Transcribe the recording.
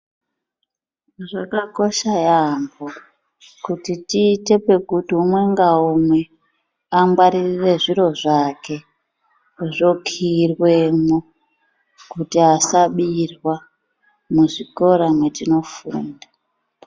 Zvakakosha yaampo kuti tiite pekuti umwe ngaumwe angwaririre xviro zvake zvokiirwemwo kuti asabirwa muzvikora mwetinofunda.